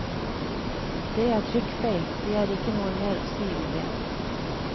Det er trykkfeil, det er ikke noe mer å si om det.